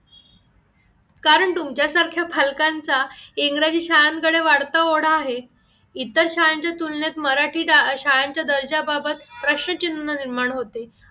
कारण तुमच्या सारख्या फालकांचा इंग्रजी शाळांकडे वाढता ओढा आहे इतर शाळेच्या तुलनेत मराठी शाळेंच्या दर्जा बाबत प्रश्न चिन्ह निर्माण होते